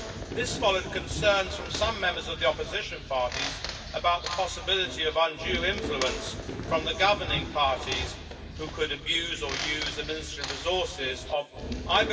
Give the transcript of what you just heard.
This followed concerns from some members of the opposition parties about the possibility of undue influence from the governing parties who could abuse or use administrative resources of the state.